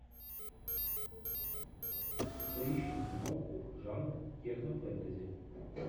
поищи киноху жанр технофэнтези